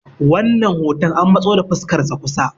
wannan hoton an matso da fuskarsa kusa